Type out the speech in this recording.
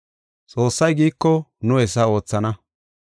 Xoossay giiko nu hessa oothana.